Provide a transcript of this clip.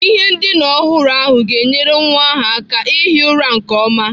Ihe ndina ọhụrụ ahụ ga-enyere nwa ahụ aka ihi ụra nke ọma.